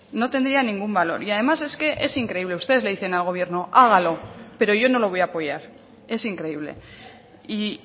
no tendría ningún valor y además es que es increíble ustedes le dicen al gobierno hágalo pero yo no lo voy a apoyar es increíble y